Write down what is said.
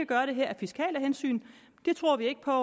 gøre det her af fiskale hensyn det tror vi ikke på